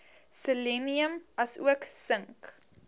selenium asook sink